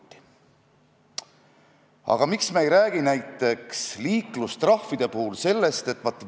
Eesti põhiseadus käsib, jah, eesti keelt ja kultuuri kaitsta, aga kes viitsib lugeda preambulist kaugemale, see leiab terve hulga mööndusi.